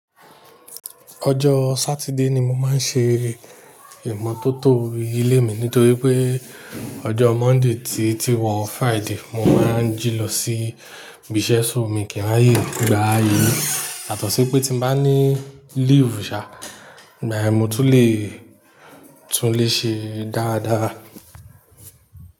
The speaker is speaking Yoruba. Ọjọ́ Sátidé ni mo máa ń ṣe ìmọ́tótó ilé mi nítorí pé ọjọ́ Monday ti tí wọ́ Friday mo máa ń jí lọ sí ibi iṣẹ́ sóò mi kí n ráàyè gbá ilé. Yatọ̀sọ́pẹ́ tí mo bá ní leave ṣá, igbayẹ́n mo tún le tún le ṣe dáadáa.